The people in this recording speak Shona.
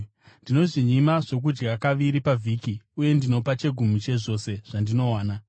Ndinozvinyima zvokudya kaviri pavhiki uye ndinopa chegumi chezvose zvandinowana.’